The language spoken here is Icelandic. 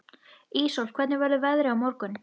Íssól, hvernig verður veðrið á morgun?